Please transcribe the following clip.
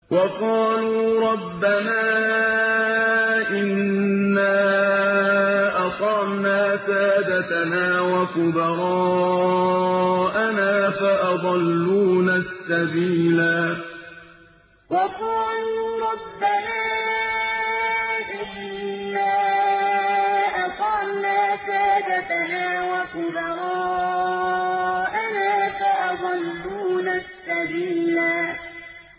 وَقَالُوا رَبَّنَا إِنَّا أَطَعْنَا سَادَتَنَا وَكُبَرَاءَنَا فَأَضَلُّونَا السَّبِيلَا وَقَالُوا رَبَّنَا إِنَّا أَطَعْنَا سَادَتَنَا وَكُبَرَاءَنَا فَأَضَلُّونَا السَّبِيلَا